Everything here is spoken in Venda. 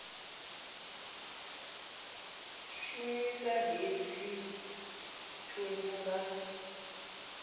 shumisa hei hedzi thundu nga